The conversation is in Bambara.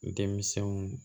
Denmisɛnw